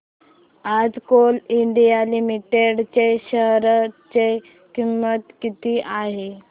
आज Coal India Limited च्या share ची किंमत किती आहे